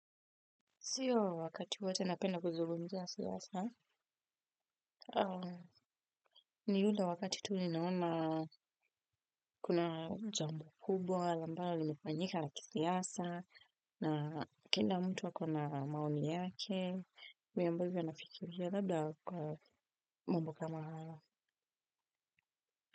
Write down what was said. Sio wakati wote napenda kuzungumizia siasa, ni ule wakati tu ninaona kuna jambo kubwa, ambalo limefanyika la kisiasa, na kila mtu ako na maoni yake, mi ambavyo nafikiria labda kwa mambo kama haya.